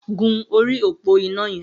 Gùn óri ópó iná yẹn